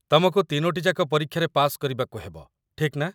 ତମକୁ ତିନୋଟି ଯାକ ପରୀକ୍ଷାରେ ପାସ୍ କରିବାକୁ ହେବ, ଠିକ୍ ନା?